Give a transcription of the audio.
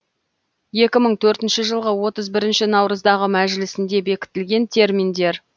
екі мың төртінші жылғы отыз бірінші наурыздағы мәжілісінде бекітілген терминдер